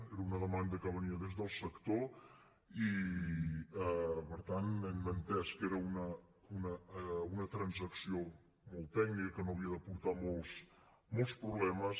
era una demanda que venia des del sector i per tant hem entès que era una transacció molt tècnica que no havia de portar molts problemes